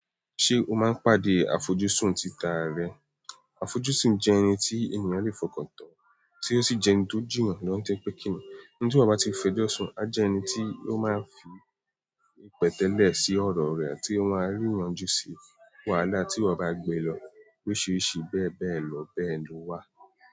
Ṣé o máa ń pàdé afọjúsùn títà ra rẹ? Afoju sun je ẹni ti ènìyàn le fi okan tan, ti o si je ẹni ti o ju eyan lo, nitoripe kini ẹni tí eyan bá ti n fẹjọ́ sùn a jẹ́ ẹni tí ó máa ń fi pẹ̀tẹ́lẹ̀ sí ọ̀rọ̀ rẹ̀, tí ó máa ríyanjú sí wàhálà tí eyan bá gbé lọ. Oríṣìíríṣìí bẹ́ẹ̀ bẹ́ẹ̀ lọ bẹ́ẹ̀ lọ wà.